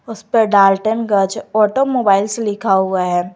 इस पर डाल्टनगंज ऑटोमोबाइल्स लिखा हुआ है।